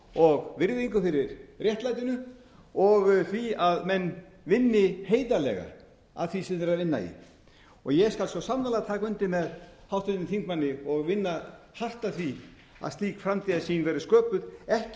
og virðingu fyrir réttlætinu og því að menn vinni heiðarlega að því sem þeir eru að vinna í og ég skal svo sannarlega taka undir með háttvirtum þingmanni og vinna hart að því að slík framtíðarsýn verði sköpuð ekki